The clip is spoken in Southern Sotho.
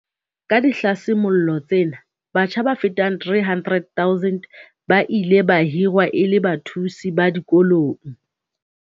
Ka dihlasimollo tsena, batjha ba fetang 300 000 ba ile ba hirwa e le bathusi ba dikolong.